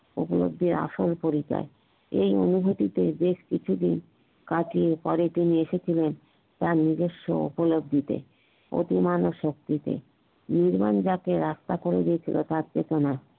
প্রতিদ্বন্ধীর আসল পরিচয় এই অনুভূতিতেই বেশ কিছু দিন কাটিয়ে পরে তিনি এসেছিলেন তার নিজেস্ব উপলব্ধিতে অতিমানব শক্তিতে যাকে রাস্তা করে দিয়েছিল তার চেতনার